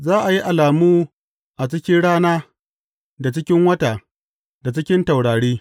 Za a yi alamu a cikin rana, da cikin wata, da cikin taurari.